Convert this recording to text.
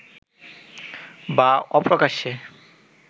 বা অপ্রকাশ্যে